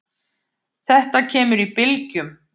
Þetta kemur í bylgjum.